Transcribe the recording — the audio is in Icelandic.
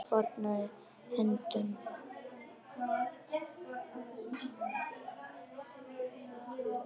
Mamma fórnaði höndum.